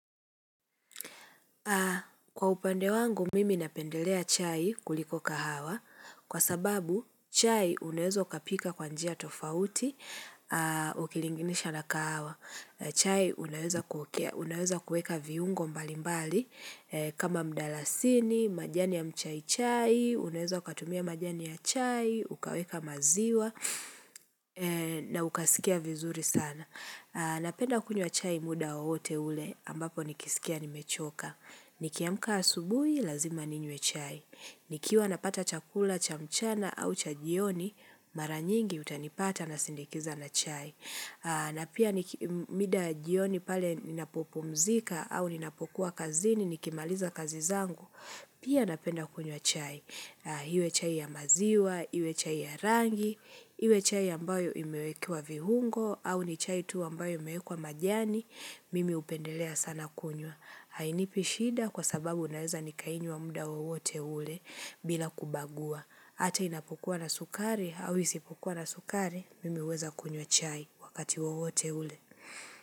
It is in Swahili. Kwa upande wangu mimi napendelea chai kuliko kahawa kwa sababu chai unaweza ukapika kwa njia tofauti ukilinganisha na kahawa. Chai unaweza kuweka viungo mbalimbali kama mdalasini, majani ya mchai chai, unaweza ukatumia majani ya chai, ukaweka maziwa na ukasikia vizuri sana. Napenda kunywa chai muda wowote ule, ambapo nikisikia nimechoka. Nikiamka asubuhi, lazima ninywe chai. Nikiwa napata chakula cha mchana au cha jioni, mara nyingi utanipata nasindikiza na chai. Na pia muda ya jioni pale ninapopumzika au ninapokuwa kazini, nikimaliza kazi zangu, pia napenda kunywa chai. Iwe chai ya maziwa, iwe chai ya rangi, iwe chai ambayo imewekewa viungo au ni chai tu ambayo imewekwa majani, mimi hupendelea sana kunywa Hainipi shida kwa sababu naweza nikainywa muda wowote ule bila kubagua hata inapokuwa na sukari au isipokuwa na sukari, mimi huweza kunywa chai wakati wowote ule.